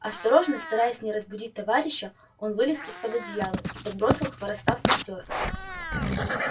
осторожно стараясь не разбудить товарища он вылез из-под одеяла и подбросил хвороста в костёр